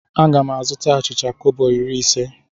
Aga m azụta achịcha kobo iri ise.